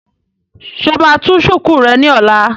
Ṣé o máa tú shùkú rẹ ní ọ̀la?